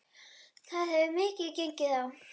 Það hefur mikið gengið á.